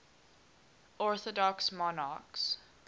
orthodox monarchs